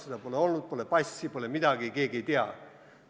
Seda pole olnudki, pole passi, pole midagi, keegi ei tea.